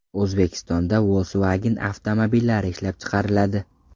O‘zbekistonda Volkswagen avtomobillari ishlab chiqariladi .